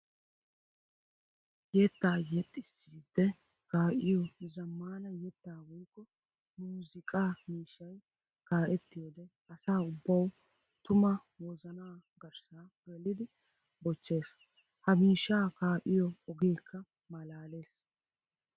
Yetta yexxissiide kaa'iyo zamaana yetta woykko muuziqqa miishshay kaa'ettiyoode asaa ubbawu tuma wozana garssa geliddi bochchees. Ha miishsha kaa'iyo ogeeka maalaales.